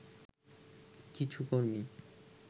কিছু কর্মী